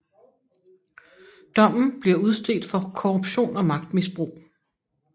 Dommen bliver udstedt for korruption og magtmisbrug